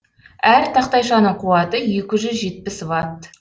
әр тақтайшаның қуаты екі жүз жетпіс ватт